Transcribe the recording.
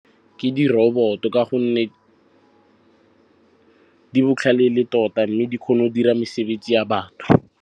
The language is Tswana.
Ke di-robot-o ka gonne di botlhale ele tota, mme di kgona go dira mesebetsi ya batho.